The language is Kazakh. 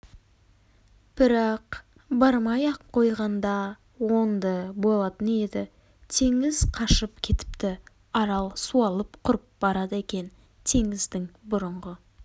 бірақ бармай-ақ қойғанда оңды болатын еді теңіз қашып кетіпті арал суалып құрып барады екен теңіздің бұрынғы